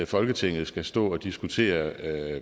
folketinget skal stå og diskutere